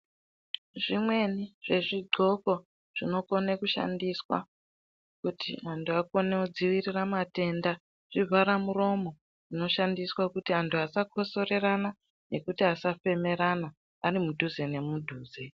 Zvimweni zvezvidxoko zvinokone kushandiswa kuti antu akone kudzivirira matenda zvivharamuromo zvinoshandiswa kuti antu asakosorerana nekuti asafemerana arimudhuze nemudhuze